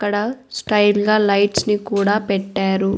అక్కడ స్టైల్ గా లైట్స్ ని కూడా పెట్టారు.